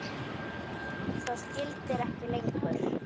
Það gildir ekki lengur.